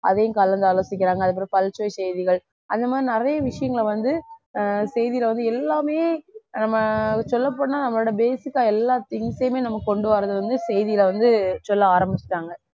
அதையும் கலந்து ஆலோசிக்கிறாங்க அதுக்கப்புறம் பல்சுவை செய்திகள் அந்த மாதிரி நிறைய விஷயங்களை வந்து ஆஹ் செய்தில வந்து எல்லாமே நம்ம சொல்லப்போனா நம்மளோட basic க்க எல்லா things யுமே நம்ம கொண்டு வர்றது வந்து செய்தில வந்து சொல்ல ஆரம்பிச்சுட்டாங்க